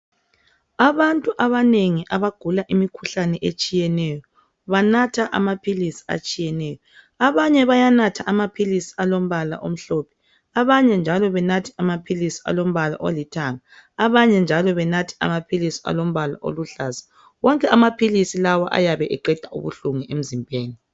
Abantu abanengi abagula imikhuhlane etshiyeneyo banatha amaphilisi atshiyeneyo. Amanye bayanatha amaphilisi alombala omhlophe abanye njalo benathe alombala olithanga abanye oluhlaza wonke amaphilisi ayabe eqeda ubuhlungu emzimbeni